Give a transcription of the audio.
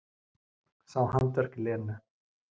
Sá handaverk Lenu.